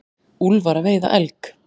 Úlfar að veiða elg.